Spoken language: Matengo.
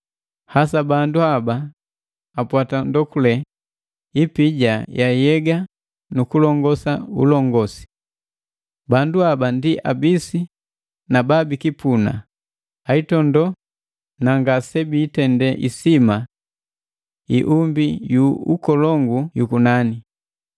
hasa bandu ba apwata ndokule ipija ya yega nu kulongama ulongosi. Bandu haba ndi abisi na ba bikipuna, aitondo na ngase biitende isima iumbi yu ukolongu yukunani.